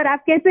आप कैसे हैं